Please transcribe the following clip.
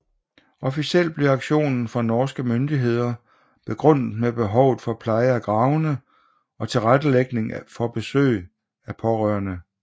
Officielt blev aktionen fra norske myndigheder begrundet med behovet for pleje af gravene og tilrettelægging for besøg af pårørende